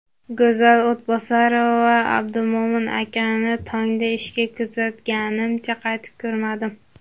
Go‘zal O‘tbosarova: Abdumo‘min akani tongda ishga kuzatganimcha, qaytib ko‘rmadim.